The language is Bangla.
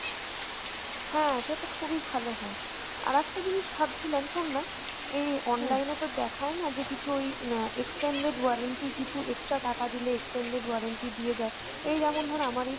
হ্যাঁ সেতো খুবই ভালো হয় আর একটা জিনিস ভাবছিলাম শোননা এই online এ তোর দেখায়না যে কিছু ওই অ্যাঁ extended warranty কিছু extra টাকা দিলে extended warranty দিয়ে দেয় এই যেমন ধর আমার এই